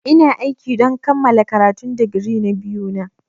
Ina aiki don kammala karatun digiri na biyu na.